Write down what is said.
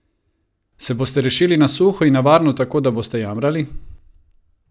Se boste rešili na suho in na varno tako, da boste jamrali?